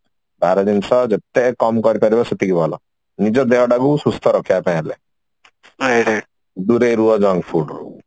ବାହାର ଜିନିଷ ଯେତେ କମ କରି ପାରିବ ସେତିକି ଭଲ ନିଜ ଦେହଟା କୁ ସୁସ୍ଥ ରଖିବା ପାଇଁ ହେଲେ ଦୂରେଇ ରୁହ junk food ରୁ